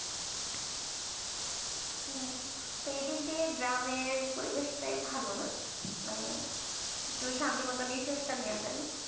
তো এই দিক দিয়ে গ্রামের পরিবেশটাই ভালো না? মানে একটু শান্তিমত নিশ্বাস টা নেওয়া যায়